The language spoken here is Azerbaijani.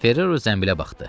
Ferrero zənbilə baxdı.